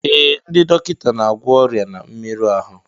Ee, ndị dọkịta na-agwọ ọrịa na mmerụ ahụ